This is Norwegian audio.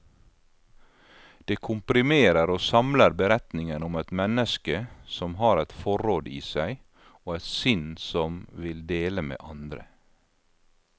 Det komprimerer og samler beretningen om et menneske som har et forråd i seg, og et sinn som vil dele med andre.